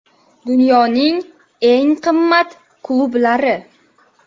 Dunyoning eng qimmat klublari.